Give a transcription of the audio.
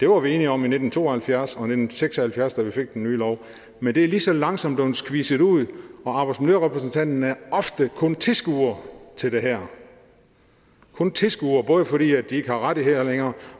det var vi enige om i nitten to og halvfjerds og i nitten seks og halvfjerds da vi fik den nye lov men det er lige så langsomt blev squeezed ud og arbejdsmiljørepræsentanterne er ofte kun tilskuere til det her kun tilskuere både fordi de ikke har rettigheder længere